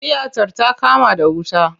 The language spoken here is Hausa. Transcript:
Tiyatar ta kama da wuta.